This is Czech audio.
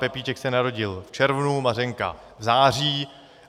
Pepíček se narodil v červnu, Mařenka v září.